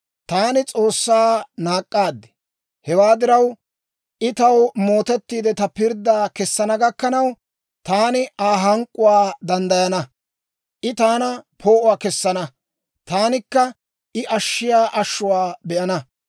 Taani S'oossaa naak'k'aad; hewaa diraw, I taw mootettiide, ta pirddaa kessana gakkanaw, taani Aa hank'k'uwaa danddayana. I taana poo'uwaa kessana; taanikka I ashshiyaa ashshuwaa be'ana.